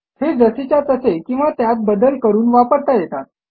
हे जसेच्या तसे किंवा त्यात बदल करून वापरता येतात